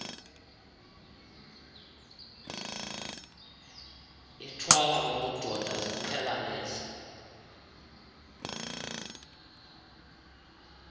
ithwala ubudoda ziqhelanise